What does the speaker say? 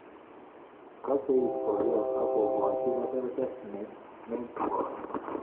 Kaseiit boyot ak ko gaji keberber netigoni